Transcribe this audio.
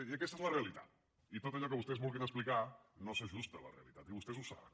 i aquesta és la realitat i tot allò que vostès vulguin explicar no s’ajusta a la realitat i vostès ho saben